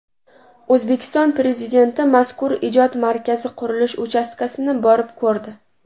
O‘zbekiston Prezidenti mazkur ijod markazi qurilish uchastkasini borib ko‘rdi.